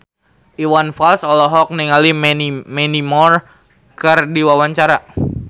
Iwan Fals olohok ningali Mandy Moore keur diwawancara